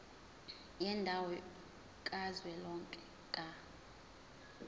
yendawo kazwelonke ka